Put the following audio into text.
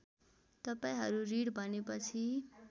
तपाईँहरू ऋण भनेपछि